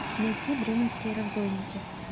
найти бременские разбойники